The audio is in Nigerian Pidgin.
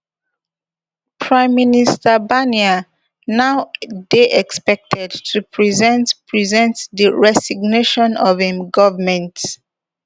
prime minister barnier now dey expected to present present di resignation of im govment